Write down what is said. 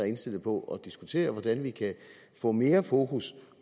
indstillet på at diskutere hvordan vi kan få mere fokus